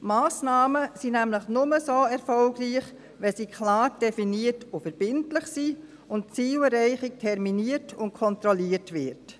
Massnahmen sind nämlich nur erfolgreich, wenn sie klar definiert sind, verbindlich sind und die Zielerreichung terminiert und kontrolliert wird.